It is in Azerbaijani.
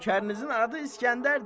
Nökərinizin adı İskəndərdir.